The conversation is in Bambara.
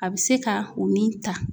A be se ka o min ta.